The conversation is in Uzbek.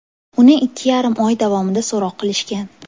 Uni ikki yarim oy davomida so‘roq qilishgan.